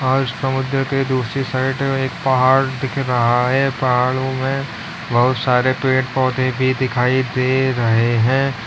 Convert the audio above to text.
और समुद्र के दूसरी साइड में एक पहाड़ दिख रहा है पहाड़ों में बहुत सारे पेड़ पौधे भी दिखाई दे रहे हैं।